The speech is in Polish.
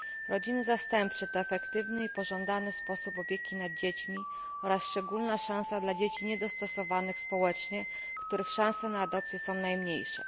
Rodziny zastępcze to efektywny i pożądany sposób opieki nad dziećmi oraz szczególna szansa dla dzieci niedostosowanych społecznie, których szanse na adopcję są najmniejsze.